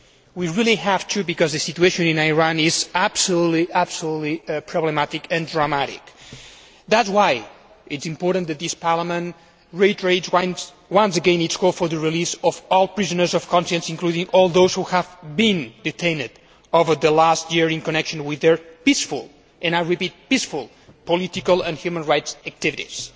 We really have to because the situation in Iran is gravely problematic and dramatic. That is why it is important that this Parliament reiterates once again its call for the release of all prisoners of conscience, including all those who have been detained over the last year in connection with their peaceful and I repeat, peaceful political and human rights activities.